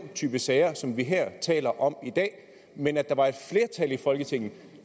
type sager som vi taler om i dag men at der var et flertal i folketinget